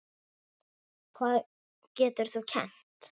Hvað getur þú kennt?